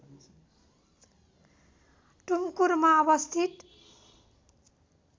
टुमकुरमा अवस्थित